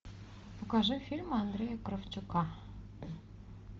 покажи фильмы андрея кравчука